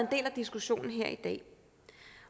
diskussionen her i dag